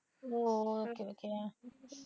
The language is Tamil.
O okay okay